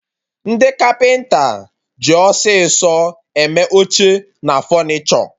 Ndị Kapịnta ji osisi eme oche na fọnichọ